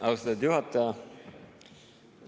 Austatud juhataja!